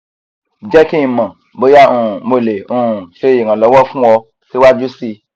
jẹ ki n mọ boya um mo le um ṣe iranlọwọ fun ọ siwaju sii